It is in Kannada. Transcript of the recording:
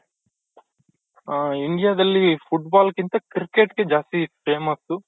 ಹ India ದಲ್ಲಿ foot ball ಗಿಂತ cricket ಗೆ ಜಾಸ್ತಿ famous